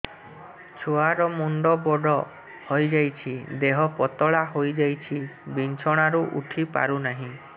ଛୁଆ ର ମୁଣ୍ଡ ବଡ ହୋଇଯାଉଛି ଦେହ ପତଳା ହୋଇଯାଉଛି ବିଛଣାରୁ ଉଠି ପାରୁନାହିଁ